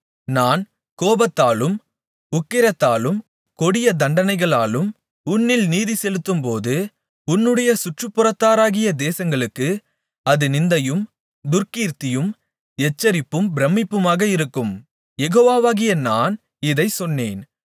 நான் கோபத்தாலும் உக்கிரத்தாலும் கொடிய தண்டனைகளாலும் உன்னில் நீதிசெலுத்தும்போது உன்னுடைய சுற்றுப்புறத்தாராகிய தேசங்களுக்கு அது நிந்தையும் துர்க்கீர்த்தியும் எச்சரிப்பும் பிரமிப்புமாக இருக்கும் யெகோவாகிய நான் இதைச் சொன்னேன்